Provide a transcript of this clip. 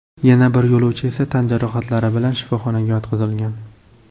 Yana bir yo‘lovchi esa tan jarohatlari bilan shifoxonaga yotqizilgan.